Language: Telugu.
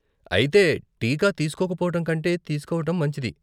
అయితే టీకా తీస్కోకపోవటం కంటే తీస్కోవటం మంచిది.